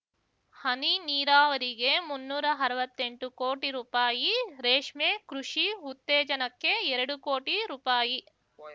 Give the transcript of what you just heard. ಹನಿ ನೀರಾವರಿಗೆ ಮುನ್ನೂರಾ ಅರ್ವತ್ತೆಂಟು ಕೋಟಿ ರೂಪಾಯಿ ರೇಷ್ಮೆ ಕೃಷಿ ಉತ್ತೇಜನಕ್ಕೆ ಎರಡು ಕೋಟಿ ರೂಪಾಯಿ